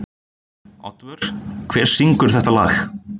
Oddvör, hver syngur þetta lag?